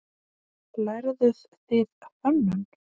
Lærðuð þið hönnun?